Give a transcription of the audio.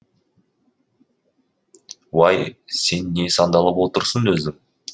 уай сен не сандалып отырсың өзің